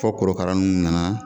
Fɔ korokara n nana